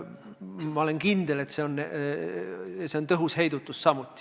Ma olen kindel, et see on samuti tõhus heidutus.